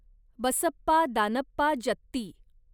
Basappa Danappa Jatti